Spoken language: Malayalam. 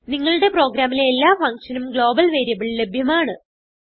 നിങ്ങളുടെ പ്രോഗ്രാമിലെ എല്ലാ functionനും ഗ്ലോബൽ വേരിയബിൾ ലഭ്യമാണ്